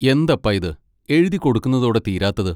എന്തപ്പാ ഇത് എഴുതിക്കൊടുക്കുന്നതോടെ തീരാത്തത്?